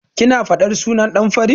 Kina faɗar sunan ɗan fari?